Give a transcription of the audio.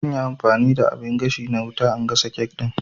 Zanyi amfani da abin gashi na wuta na gasa kek ɗin